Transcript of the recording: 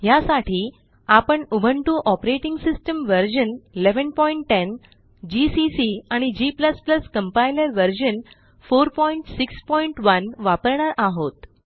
ह्यासाठी आपणUbuntu operating system version 1110 GCC आणि g कंपाइलर व्हर्शन 461 वापरणार आहोत